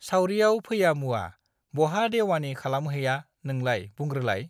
सावरियाव फैया मुवा बहा देउवानि खालामहैया नोंलाय बुंग्रोलाइ